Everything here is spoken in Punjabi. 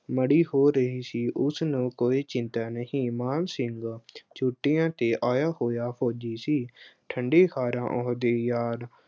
ਮਾੜੀ ਹੋ ਰਹੀ ਸੀ ਉਸਨੂੰ ਕੋਈ ਚਿੰਤਾ ਨਹੀਂ, ਮਾਨ ਸਿੰਘ ਛੁੱਟੀਆਂ ਤੇ ਆਇਆ ਹੋਇਆ ਫੌਜੀ ਸੀ, ਠੰਡੀਖਾਰਾ ਉ ਅਹ ਹਦੇ ਯਾਰ